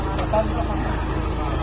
Salam, salam salam!